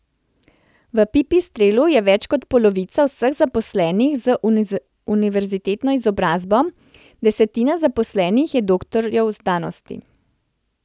V Pipistrelu je več kot polovica vseh zaposlenih z univerzitetno izobrazbo, desetina zaposlenih je doktorjev znanosti.